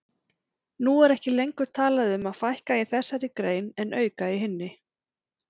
Nú er ekki lengur talað um að fækka í þessari grein en auka í hinni.